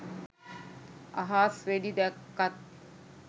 අහස් වෙඩි දැක්කත්